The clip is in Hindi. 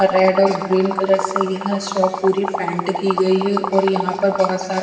रेड और ग्रीन कलर से यह शॉप पूरी पेंट की गई है और यहां पर बहोत सारा--